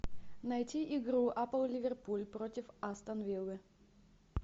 найти игру апл ливерпуль против астон виллы